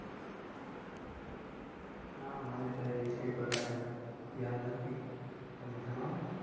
ના, મને તો એ વિષય ઉપર કાંઈ ખ્યાલ નથી તમે જણાવો.